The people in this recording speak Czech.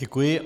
Děkuji.